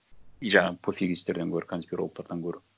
и жаңағы пофигисттерден гөрі конспирологтардан гөрі